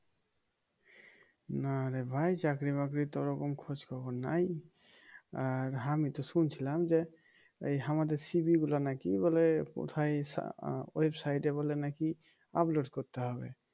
না রে ভাই চাকরির বাকরির তো ওরকম খোঁজখবর নাই আর আমি তো শুনছিলাম যে এই আমাদের সিভিগুলা নাকি বলে কোথায় আহ ওয়েবসাইট এ বলে নাকি আপলোড করতে হবে. "